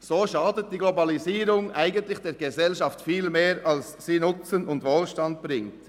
So schadet die Globalisierung der Gesellschaft eigentlich viel mehr, als dass sie Nutzen und Wohlstand bringt.